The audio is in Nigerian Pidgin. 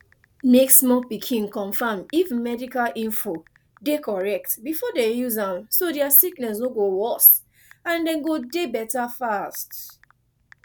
mek small pikin confam if medical info de correct before dem use am so dia sickness no go worse and dem go dey better fast